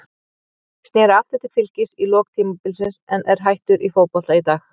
Sneri aftur til Fylkis í lok tímabilsins en er hættur í fótbolta í dag.